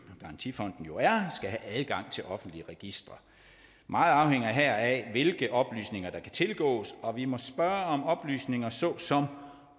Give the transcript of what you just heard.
garantifonden jo er skal have adgang til offentlige registre meget afhænger her af hvilke oplysninger der kan tilgås og vi må spørge om oplysninger såsom